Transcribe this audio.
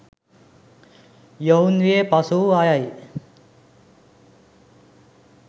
යොවුන් වියේ පසුවූ අයයි.